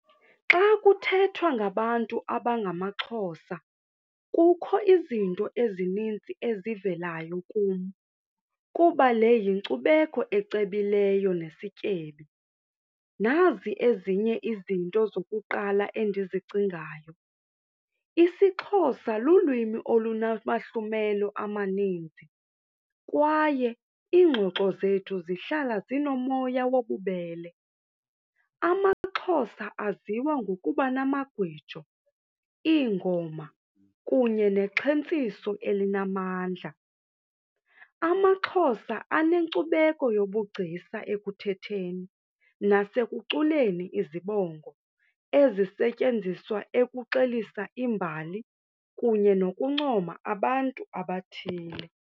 Xa kuthethwa ngabantu abangamaXhosa kukho izinto ezininzi ezivelayo kum kuba le yinkcubeko ecebileyo nesityebi. Nazi ezinye izinto zokuqala endizicingayo. IsiXhosa lulwimi olunamahlumelo amaninzi kwaye iingxoxo zethu zihlala zinomoya wobubele. AmaXhosa aziwa ngokuba namagwijo, iingoma kunye nexhentsiso elinamandla. AmaXhosa anenkcubeko yobugcisa ekuthetheni nasekuculeni izibongo ezisetyenziswa ekuxelisa imbali kunye nokuncoma abantu abathile.